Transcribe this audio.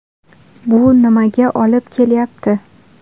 Bu nimaga olib kelyapti?